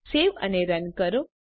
સેવ અને રન કરો